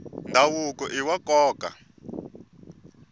ndhavuko iwa nkoka